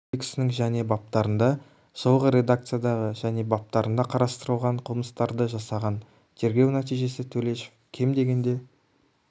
кодексінің және баптарында жылғы редакциядағы және баптарында қарастырылған қылмыстарды жасаған тергеу нәтижесі төлешов кем дегенде